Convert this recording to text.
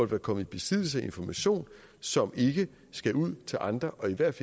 være kommet i besiddelse af information som ikke skal ud til andre og i hvert